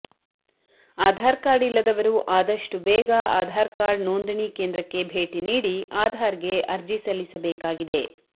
Aadhaar card ಇಲ್ಲದವರು ಆದಷ್ಟು ಬೇಗ ಆಧಾರ್ ಕಾರ್ಡ್ ನೋಂದಣಿ ಕೇಂದ್ರಕ್ಕೆ ಭೇಟಿ ನೀಡಿ ಆಧಾರ್ ಗೆ ಅರ್ಜಿ ಸಲ್ಲಿಸಬೇಕಾಗಿದೆ